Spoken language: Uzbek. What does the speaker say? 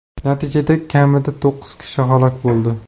Natijada kamida to‘qqiz kishi halok bo‘ldi.